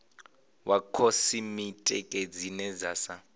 wa khosimetiki dzine vha sa